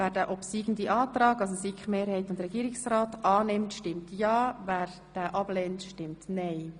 Wer den obsiegenden Antrag annimmt, stimmt ja, wer diesen ablehnt, stimmt nein.